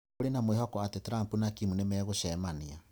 Kũrĩ na mwĩhoko atĩ Trump na Kim nimegũcemania